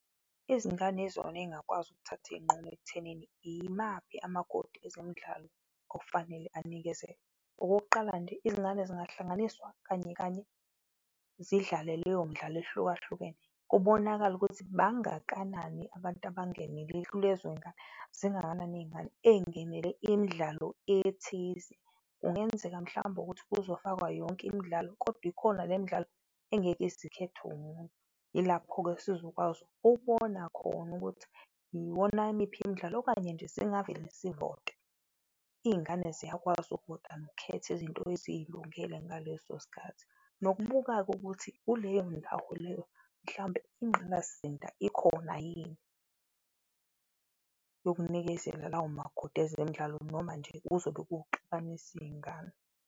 Izingane izona eyingakwazi ukuthatha iyinqumo ekuthenini imaphi umakoti ezemidlalo okufanele anikezelwe. Okokuqala nje izingane zingahlanganiswa kanye kanye zidlale leyo midlalo ehlukahlukene kubonakale ukuthi bangakanani abantu abangenelile kulezo yingane, zingakanani iyingane eyingenele imidlalo ethize. Kungenzeka mhlawumbe ukuthi kuzofakwa yonke imidlalo kodwa ikhona le midlalo engeke izikhethwe umuntu, yilapho-ke esizokwazi ukubona khona ukuthi iwona miphi imidlalo okanye nje singavele sivote. Iyingane ziyakwazi nokukhetha izinto eziyilungele ngaleso sikhathi, nokubuka-ke ukuthi kuleyo ndawo leyo mhlawumbe ingqalasizinda ikhona yini yokunikezela lawo makokhodi ezemidlalo. Noma nje kuzobe kuwukuxabanisa iyingane.